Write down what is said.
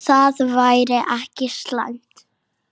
Það væri ekki slæmt.